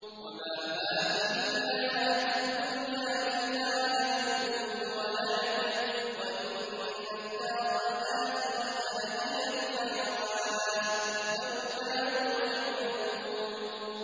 وَمَا هَٰذِهِ الْحَيَاةُ الدُّنْيَا إِلَّا لَهْوٌ وَلَعِبٌ ۚ وَإِنَّ الدَّارَ الْآخِرَةَ لَهِيَ الْحَيَوَانُ ۚ لَوْ كَانُوا يَعْلَمُونَ